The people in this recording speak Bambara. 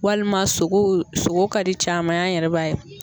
Walima sogo sogo ka di caman ye an yɛrɛ b'a ye.